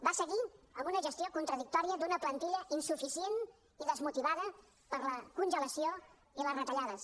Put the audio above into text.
va seguir amb una gestió contradictòria d’una plantilla insuficient i desmotivada per la congelació i les retallades